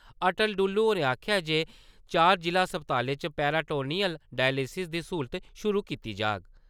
अटल डुल्लु होरें आखेआ ऐ जे चार जिला अस्पतालें च पेरिटोनियल डायलिसिस दी स्हूलत शुरू कीती जाग।